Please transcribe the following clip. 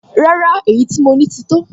Rárá, èyí tí mo ní ti tó